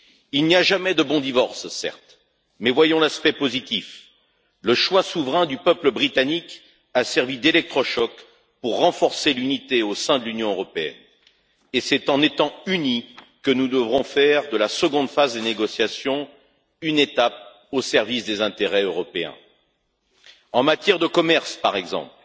Il n'y a jamais de bon divorce, certes, mais voyons l'aspect positif le choix souverain du peuple britannique a servi d'électrochoc pour renforcer l'unité au sein de l'Union européenne, et c'est en étant unis que nous devrons faire de la deuxième phase des négociations une étape au service des intérêts européens. En matière de commerce, par exemple,